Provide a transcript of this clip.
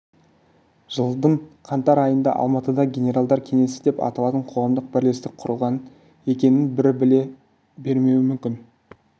жылдың қаңтар айында алматыда генералдар кеңесі деп аталатын қоғамдық бірлестік құрылғанын екінің бірі біле бермеуі мүмкін